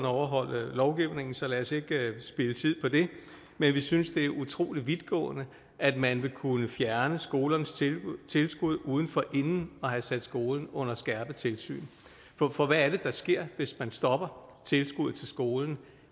overholde lovgivningen så lad os ikke spilde tid på det men vi synes det er utrolig vidtgående at man vil kunne fjerne en skoles tilskud uden forinden at have sat skolen under skærpet tilsyn for hvad er det der sker hvis man stopper tilskuddet til skolen